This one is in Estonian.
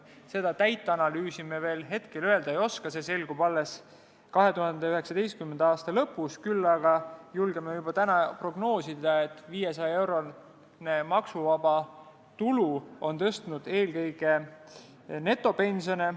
Seda analüüsi hetkel ei ole, see selgub alles 2019. aasta lõpus, küll aga julgeme juba täna prognoosida, et 500-eurone maksuvaba tulu on tõstnud eelkõige netopensione.